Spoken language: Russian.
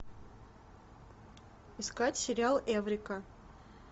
искать сериал эврика